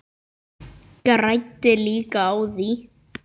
Græddi líka á því.